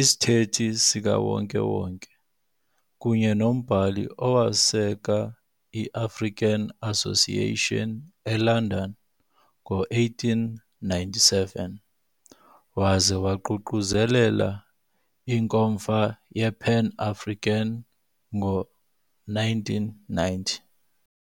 isithethi sikawonke-wonke, kunye nombhali owaseka iAfrican Association eLondon ngo-1897, waza waququzelela iNkomfa yePan-African ngo-1990.